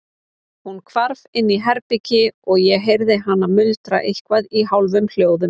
Hún hvarf inn í herbergi og ég heyrði hana muldra eitthvað í hálfum hljóðum.